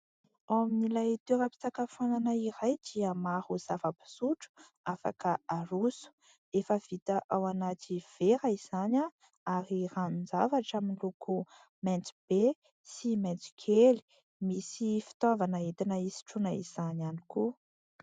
Ao amin'ilay toera-pisakafoanana iray dia maro zava-pisotro afaka haroso, efa vita ao anaty vera izany, ary ranon-javatra amin'ny loko mainty be sy mainty kely ; misy fitaovana entina hisotroana izany ihany koa.